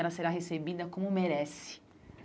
Ela será recebida como merece.